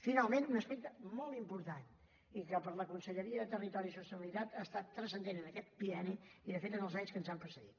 finalment un aspecte molt important i que per la conselleria de territori i sostenibilitat ha estat transcendent en aquest bienni i de fet en els anys que ens han precedit